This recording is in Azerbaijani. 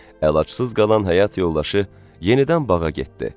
Əlacısız qalan həyat yoldaşı yenidən bağa getdi.